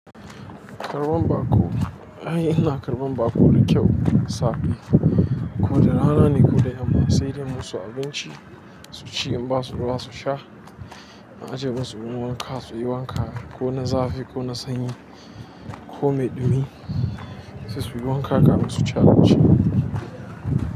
Karɓan baƙo, eh ina karɓan baƙo da kyau safe koda da rana ne, koda yamma sai de in yi musu abinci, in basu ruwa su sha na ajiye musu ruwan wanka suyi wanka ko na zafi ko na sanyi ko mai ɗumi sai suyi wanka kamin su ci abinci.